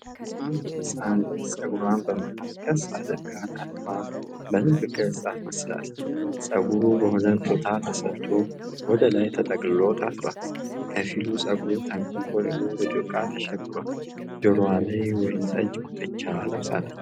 አንድ ሕፃን ልጅ ፀጉሯን በመሃል ቀስ አድርጋ ታጥባ በልብ ቅርጽ አስመስላለች። ፀጉሩ በሁለት ቦታ ተሰርቶ ወደ ላይ ተጠቅልሎ ታስሯል። ከፊሉ ፀጉር ተጎንጉኖ በዶቃ ተሸብሯል። ጆሮዋ ላይም ወይንጠጅ ጉትቻ ለብሳለች።